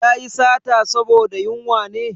Ya yi sata saboda yunwa ne?